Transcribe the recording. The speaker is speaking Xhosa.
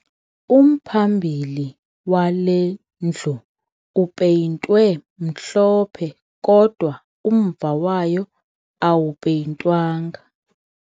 Umphambili wale ndlu upeyintwe mhlophe kodwa umva wayo awupeyintwanga